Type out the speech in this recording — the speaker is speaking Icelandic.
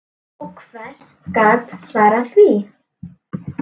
Og hver gat svarað því?